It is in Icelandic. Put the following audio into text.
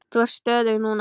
Ég er stöðug núna.